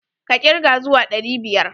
Ka kirga zuwa ɗari biyar!